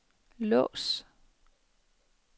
lås